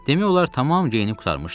Demək olar tamam geyinib qurtarmışdım.